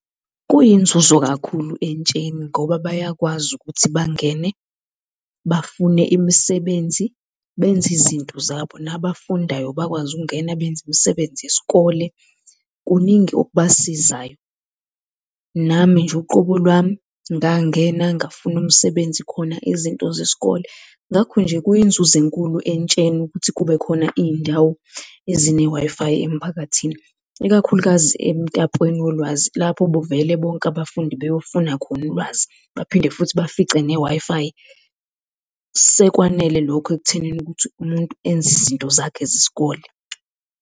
Kweyinzuzo kakhulu entsheni ngoba bayakwazi ukuthi bangene bafune imisebenzi, benze izinto zabo, nabafundayo bayakwazi ukungena benze imisebenzi yesikole. Kuningi okubasizayo. Nami nje uqobo lwami ngangena ngafuna umsebenzi khona izinto zesikole. Ngakho nje kwiyinzuzo enkulu entsheni ukuthi kube khona iy'ndawo ezine-Wi-Fi emphakathini. Ikakhulukazi emtapweni wolwazi lapho vele bonke abafundi beyofuna khona ulwazi, baphinde futhi bafice ne-Wi-Fi. Sekwanele lokho ekuthenini ukuthi umuntu enze izinto zakhe zesikole.